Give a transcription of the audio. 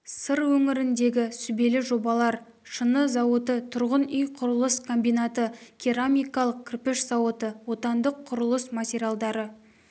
сыр өңіріндегі сүбелі жобалар шыны зауыты тұрғын үй құрылыс комбинаты керамикалық кірпіш зауыты отандық құрылыс материалдары